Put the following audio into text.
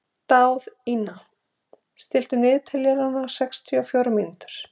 Daðína, stilltu niðurteljara á sextíu og fjórar mínútur.